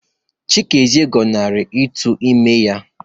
Chikezie gọnarịrị ito ime ya